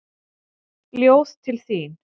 Ljóð til þín.